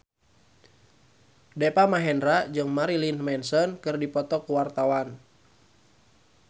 Deva Mahendra jeung Marilyn Manson keur dipoto ku wartawan